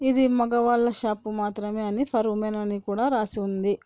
ఇది మగవాళ్ల షాప్ మాత్రమే అని ఫర్ ఉమెన్ అనికూడా రాసి ఉంది.